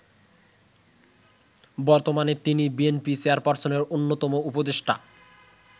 বর্তমানে তিনি বিএনপি চেয়ারপার্সনের অন্যতম উপদেষ্টা।